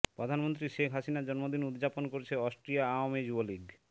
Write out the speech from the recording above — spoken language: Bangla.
প্রধানমন্ত্রী শেখ হাসিনার জন্মদিন উদযাপন করেছে অস্ট্রিয়া আওয়ামী যুবলীগ